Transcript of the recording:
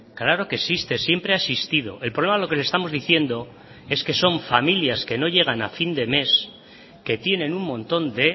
claro que existe siempre ha existido el problema lo que le estamos diciendo es que son familias que no llegan a fin de mes que tienen un montón de